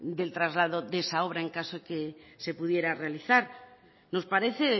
del traslado de esa obra en caso de que se pudiera realizar nos parece